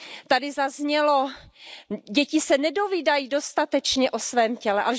Tady zaznělo, že děti se nedovídají dostatečně o svém těle.